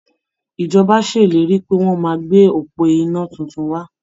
Ìjọba ṣèlérí pé wọ́n máa gbé òpó iná tuntun wá.